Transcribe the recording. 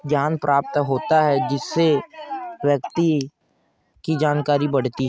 ज्ञान प्राप्त होता है जिससे व्यक्ति की जानकारी बढती है।